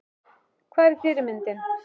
Hvar er fyrirmyndin?